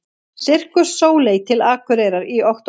Sirkus Sóley til Akureyrar í október